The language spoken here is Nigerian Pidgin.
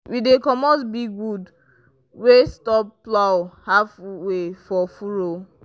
we dig comot big wood wey stop plow halfway for furrow.